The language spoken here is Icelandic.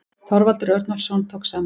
Þorvaldur Örnólfsson tók saman.